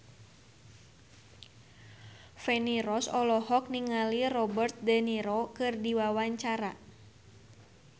Feni Rose olohok ningali Robert de Niro keur diwawancara